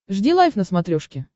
жди лайв на смотрешке